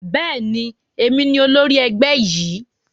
Bẹ́ẹ̀ni, èmi ni olórí ẹgbẹ́ yìí